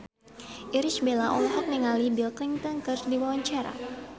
Irish Bella olohok ningali Bill Clinton keur diwawancara